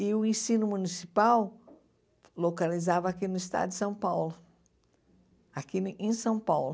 E o ensino municipal localizava aqui no estado de São Paulo, aqui em São Paulo.